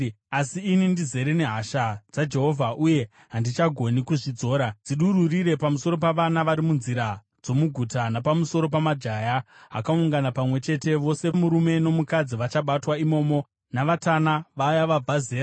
Asi ini ndizere nehasha dzaJehovha, uye handichagoni kuzvidzora. “Dzidururire pamusoro pavana vari munzira dzomuguta, napamusoro pamajaya akaungana pamwe chete; zvose murume nomukadzi vachabatwa imomo, navatana, vaya vabva zera.